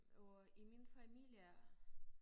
Og i min familie